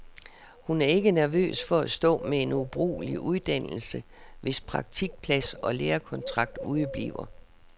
Hun er ikke nervøs for at stå med en ubrugelig uddannelse, hvis praktikplads eller lærekontrakt udebliver.